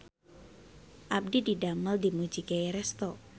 Abdi didamel di Mujigae Resto